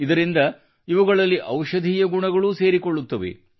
ಇದರಿಂದ ಇವುಗಳಲ್ಲಿ ಔಷಧೀಯ ಗುಣಗಳೂ ಸೇರಿಕೊಳ್ಳುತ್ತವೆ